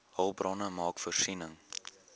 hulpbronne maak voorsiening